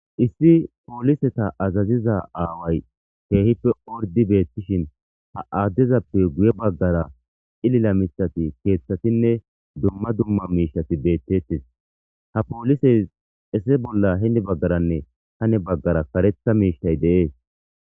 Issi pooliseta azaziza aaway keehippe ordi beettishin ha aaddezappe guye baggara ilila mithati keeththatinne dumma dumma miishati beettettis ha poolisey esse bolla hindi baggaranne hane baggara karetha miishtay deees